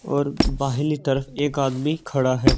और भाइलिटर एक आदमी खड़ा है।